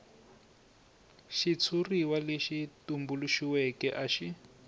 xitshuriwa lexi tumbuluxiweke a xi